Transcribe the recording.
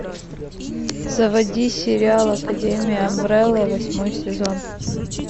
заводи сериал академия амбрелла восьмой сезон